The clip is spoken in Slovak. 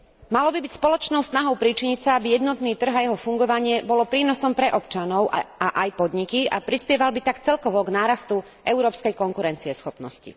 Malo by byť spoločnou snahou pričiniť sa, aby jednotný trh a jeho fungovanie bolo prínosom pre občanov a aj podniky, a prispieval by tak celkovo k nárastu európskej konkurencieschopnosti.